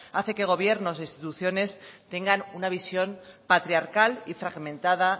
hace que gobiernos e instituciones tengan una visión patriarcal y fragmentada